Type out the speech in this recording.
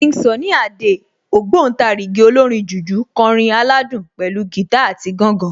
King Sunny Adé, ògbóǹtarìgì olórin jùjú kọrin aládùn pẹ̀lú gìtá àti gángan